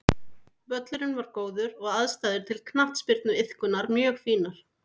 Völlurinn var góður og aðstæður til knattspyrnuiðkunar mjög fínar.